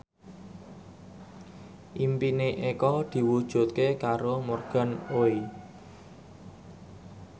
impine Eko diwujudke karo Morgan Oey